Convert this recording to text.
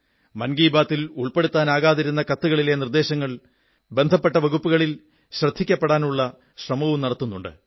മൻ കീ ബാത്തിൽ ഉൾപ്പെടുത്താനാകാതിരുന്ന കത്തുകളിലെ നിർദ്ദേശങ്ങൾ ബന്ധപ്പെട്ട വകുപ്പുകളിൽ ശ്രദ്ധിക്കപ്പെടാനുള്ള ശ്രമവും നടത്തുന്നുണ്ട്